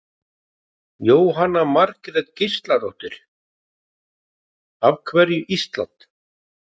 Jóhanna Margrét Gísladóttir: Af hverju Ísland?